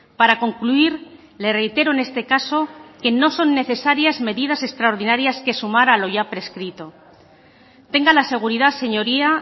para concluir le reitero en este caso que no son necesarias medidas extraordinarias que sumar a lo ya prescrito tenga la seguridad señoría